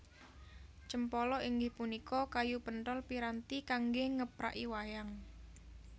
Cempala inggih punika kayu penthol piranti kanggé ngepraki wayang